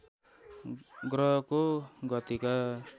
ग्रहको गतिका